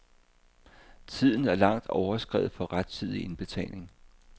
Tiden er langt overskredet for rettidig indbetaling.